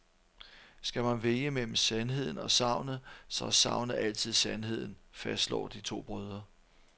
Skal man vælge mellem sandheden og sagnet, så er sagnet altid sandheden, fastslår de to brødre.